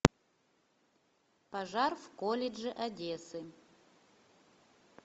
пожар в колледже одессы